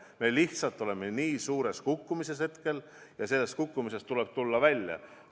Me lihtsalt oleme nii suures kukkumises hetkel ja sellest kukkumisest tuleb välja tulla.